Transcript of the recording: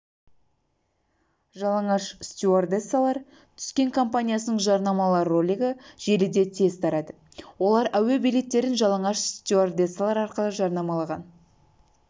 хабарлағандай жалаңаш қыздармен шыққан роликтен кейін бір тәулік өткенде әуе билеттерін сатумен айналысатын қазақстандық сервисі жалаңаш